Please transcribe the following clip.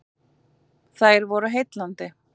Þær voru heillandi.